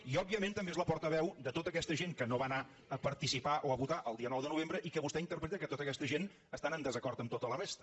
i òbviament també és la portaveu de tota aquesta gent que no va anar a participar o a votar el dia nou de novembre i que vostè interpreta que tota aquesta gent estan en desacord amb tota la resta